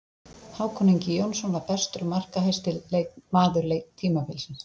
Hákon Ingi Jónsson var bestur og markahæsti maður tímabilsins.